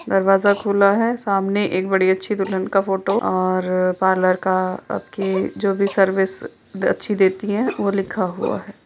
दरवाजा खुला है सामने एक बड़ी अच्छी दुल्हन का फोटो और पार्लर का आपके जो भी सर्विस अच्छी देती हैं वो लिखा हुआ है।